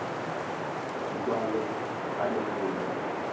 di kwale a di rebole